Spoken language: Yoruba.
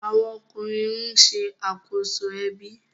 awọn ọkunrin ní ṣe akoso ebi.